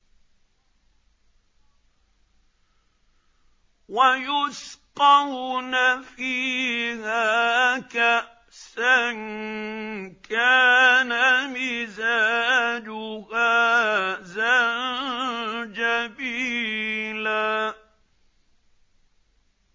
وَيُسْقَوْنَ فِيهَا كَأْسًا كَانَ مِزَاجُهَا زَنجَبِيلًا